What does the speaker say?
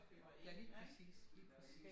Ja lige præcis lige præcis